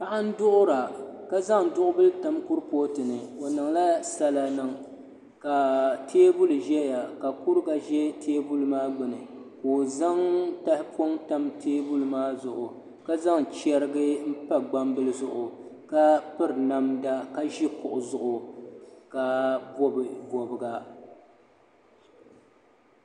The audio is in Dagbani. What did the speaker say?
Paɣa n duɣura ka zaŋ duɣu bili tam kuripooti ni o niŋla sala niŋ ka teebuli ka teenuli ʒɛya ka kuriga ʒɛ teebuli maa gbuni ka o zaŋ tahapoŋ tam teebuli maa zuɣu ka zaŋ chɛrigi n pa gbambili zuɣu ka piri namda ka ʒi kuɣu zuɣu ka bob bobga